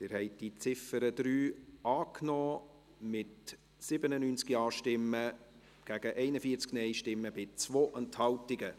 Sie haben die Ziffer 3 als Postulat angenommen, mit 97 Ja- gegen 41 Nein-Stimmen bei 2 Enthaltungen.